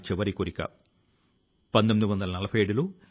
ఫుల్ల కుసుమిత ద్రుమదళ శోభినీమ్